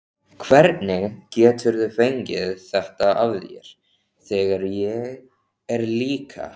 Hvernig geturðu fengið þetta af þér, þegar ég er líka.